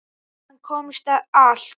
Hann komst allt.